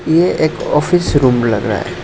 यह एक office room लग रहा है।